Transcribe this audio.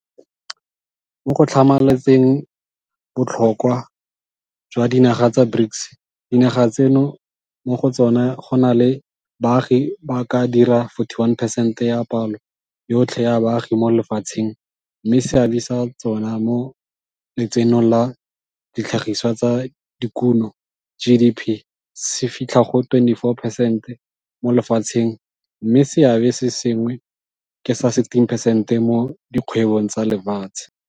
Mo go tlhamalatseng botlhokwa jwa dinaga tsa BRICS, dinaga tseno mo go tsona go na le baagi ba ka dira 41 percent ya palo yotlhe ya baagi mo lefatsheng mme seabe sa tsona mo Letsenong la Ditlhagisiwa tsa Dikuno GDP se fitlha go 24 percent mo lefatsheng mme seabe se sengwe ke sa 16 percent mo di kgwebong tsa lefatshe.